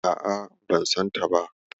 A'a, ban santa ba.